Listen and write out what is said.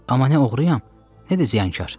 Amma nə oğruyam, nə də ziyankar.